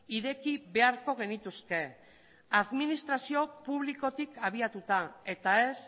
ireki beharko genituzke administrazio publikotik abiatuta eta ez